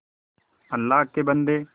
अल्लाह के बन्दे